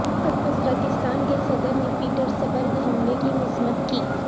Uzbekistan کے صدر نے پیٹرسبرگ حملے کی مذمت کی